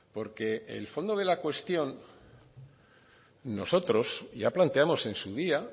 porque el fondo de la cuestión nosotros ya planteamos en su día